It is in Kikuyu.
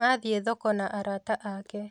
Mathiĩ thoko na arata ake